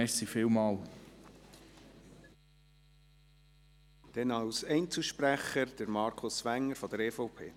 Als Einzelsprecher hat Grossrat Wenger das Wort.